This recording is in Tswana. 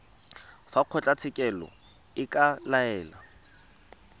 fa kgotlatshekelo e ka laela